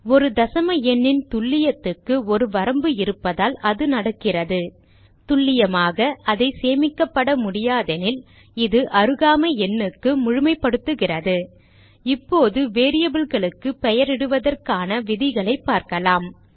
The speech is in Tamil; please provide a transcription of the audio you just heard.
ஒரு தசம எண்ணின் துல்லியத்துக்கு ஒரு வரம்பு இருப்பதால் இது நடக்கிறது துல்லியமாக அதை சேமிக்கப்பட முடியாதெனில் இது அருகாமை எண்ணுக்கு முழுமைப்படுத்துகிறது இப்போது variableகளுக்கு பெயரிடுவதற்கான விதிகளைப் பார்க்கலாம்